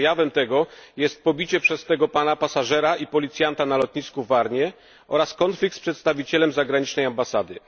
Jej przejawem jest pobicie przez tego pana pasażera i policjanta na lotnisku w Warnie oraz konflikt z przedstawicielem zagranicznej ambasady.